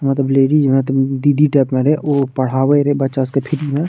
यहाँ पे लेडीज़ मतलब दीदी टाइप में उ पढ़ावे रहे बच्चा सब के फ्री में।